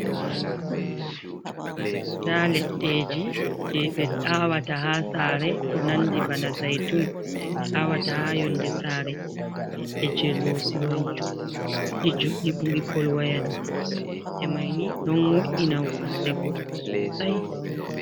Ɗa leddeji je ɓe awata ha sare. Ko nandi bana zaitun je ɓe awata ha yonde sare leɗɗe je losi man juɗi judɗi ɓuri pol wayaɗo ledde maini ɗon wo’ina sare goɗɗo sosai.